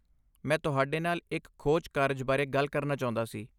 ਮੈਂ ਤੁਹਾਡੇ ਨਾਲ ਇੱਕ ਖੋਜ ਕਾਰਜ ਬਾਰੇ ਗੱਲ ਕਰਨਾ ਚਾਹੁੰਦਾ ਸੀ।